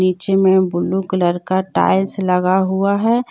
नीचे में blue colour का टाइल्स लगा हुआ है।